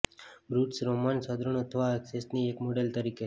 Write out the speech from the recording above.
Brutus Roman સદ્ગુણ અથવા એક્સેસની એક મોડેલ તરીકે